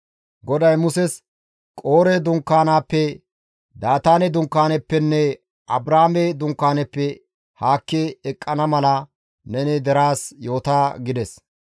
GODAY Muses, «Qoore dunkaanaappe, Daataane dunkaanaappenne Abraame dunkaanaappe haakki eqqana mala neni deraas yoota» gides.